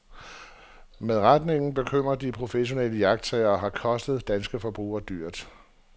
Men retningen bekymrer de professionelle iagttagere og har kostet danske forbrugere dyrt.